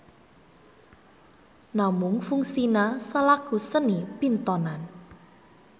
Namung fungsina salaku seni pintonan.